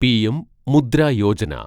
PM Mudra Yojana